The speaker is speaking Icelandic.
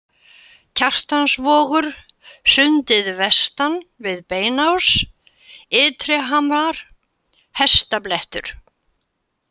Kjartansvogur, Sundið vestan við Beinás, Ytrihamar, Hestablettur